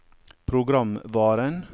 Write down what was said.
programvaren